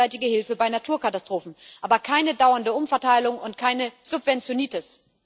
gegenseitige Hilfe bei Naturkatastrophen, aber keine dauernde Umverteilung und keine Subventionitis.